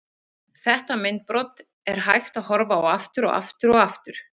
Þetta myndbrot er hægt að horfa á aftur og aftur og aftur.